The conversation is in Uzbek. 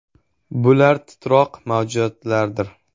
Bular “titroq mavjudotlar”dir.